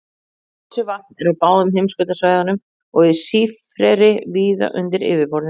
Frosið vatn er á báðum heimskautasvæðunum og er sífreri víða undir yfirborðinu.